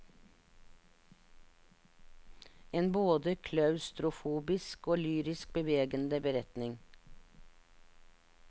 En både klaustrofobisk og lyrisk bevegende beretning.